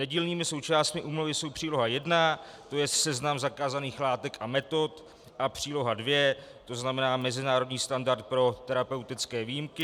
Nedílnými součástmi úmluvy jsou Příloha I, to je seznam zakázaných látek a metod, a Příloha II, to znamená mezinárodní standard pro terapeutické výjimky.